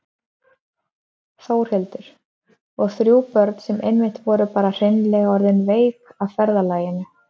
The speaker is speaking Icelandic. Þórhildur: Og þrjú börn sem einmitt voru bara hreinlega orðin veik af ferðalaginu?